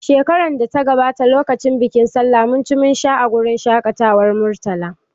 Shekarar da ta gabata lokacin bikin sallah mun ci mun sha a wurin shaƙatawar Murtala.